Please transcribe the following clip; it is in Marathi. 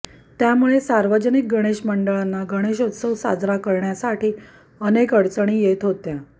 त्यामुळे सार्वजनिक गणेश मंडळांना गणेशोत्सव साजरा करण्यासाठी अनेक अडचणी येत होत्या